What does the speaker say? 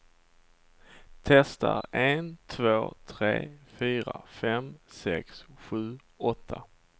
Testar en två tre fyra fem sex sju åtta.